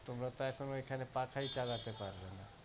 তোমরা তো এখন ওইখানে পাখায় চালতে পারবে না।